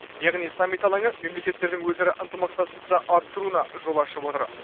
яғни саммит алаңы мемлекеттердің өзара ынтымақтастықты арттыруына жол ашып отыр